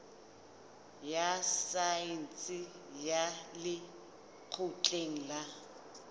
ya saense ya lekgotleng la